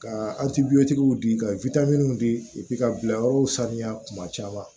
Ka di ka di ka bila yɔrɔw sanuya kuma caman